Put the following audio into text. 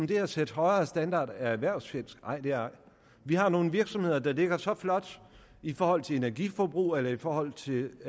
det at sætte højere standarder er erhvervsfjendsk nej det er ej vi har nogle virksomheder der ligger så flot i forhold til energiforbrug eller i forhold til